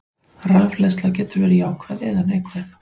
Rafhleðsla getur verið jákvæð eða neikvæð.